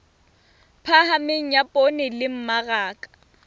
phahameng ya poone le mmaraka